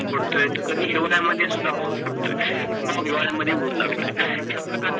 पडतोय तर कधी जीवनाया मध्ये सुद्धा पाऊस पडतो आहे किव्वा उधाण्याण मध्ये उन लागतोय. या प्रकार